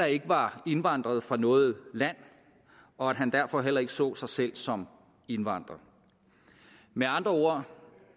ikke var indvandret fra noget land og at han derfor heller ikke så sig selv som indvandrer med andre ord